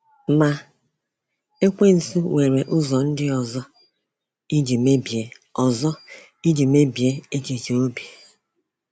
Ma Ekwensu nwere ụzọ ndị ọzọ iji mebie ọzọ iji mebie echiche obi.